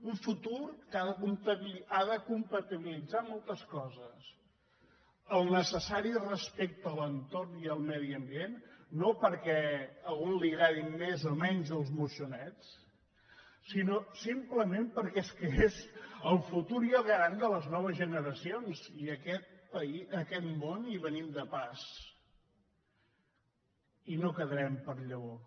un futur que ha de compatibilitzar moltes coses el necessari respecte a l’entorn i al medi ambient no perquè a algun li agradin més o menys els moixonets sinó simplement perquè és que és el futur i el garant de les noves generacions i a aquest món hi venim de pas i no quedarem per llavor